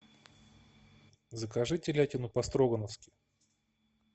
закажи телятину по строгановски